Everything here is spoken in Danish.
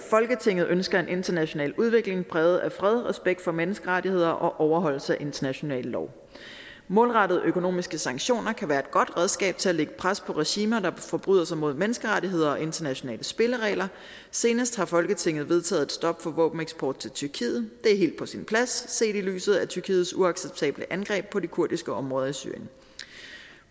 folketinget ønsker en international udvikling præget af fred respekt for menneskerettigheder og overholdelse af international lov målrettede økonomiske sanktioner kan være et godt redskab til at lægge pres på regimer der forbryder sig mod menneskerettigheder og internationale spilleregler senest har folketinget vedtaget et stop for våbeneksport til tyrkiet det er helt på sin plads set i lyset af tyrkiets uacceptable angreb på de kurdiske områder i syrien